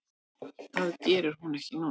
Það geri hún ekki núna.